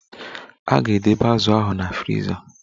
A ga-edebe azu ahụ na friza.